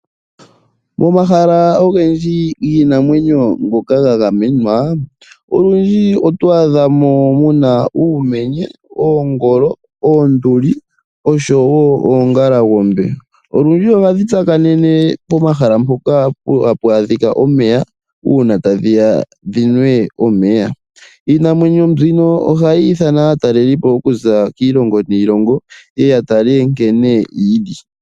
Momahala ogendji giinamwenyo ngoka ga gamenwa, olundji oto adha mo mu na uumenye, oongolo, oonduli osho wo oongalangombe. Olundji ohadhi tsakanene pomahala mpoka hapu adhika omeya uuna tadhi ya dhi nwe omeya. Iinamwenyo mbino ohayi ithana aatalelipo okuza kiilongo niilongo ye ye ya tale nkene yi li.